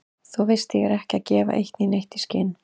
Þú veist ég er ekki að gefa eitt né neitt í skyn.